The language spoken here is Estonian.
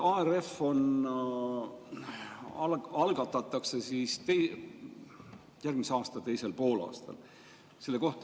ARF algatatakse järgmise aasta teisel poolaastal.